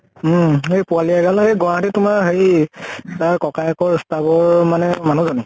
উম সেই পোৱালী এগাল এই গুৱাহাটীত তোমাৰ হেৰি তাৰ ককায়েকৰ staff ৰ মানে মানুহ জনী